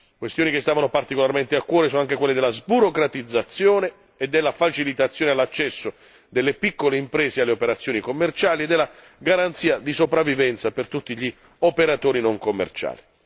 Questioni che stavano particolarmente a cuore sono anche quelle della sburocratizzazione e della facilitazione all'accesso delle piccole imprese alle operazioni commerciali e della garanzia di sopravvivenza per tutti gli operatori non commerciali.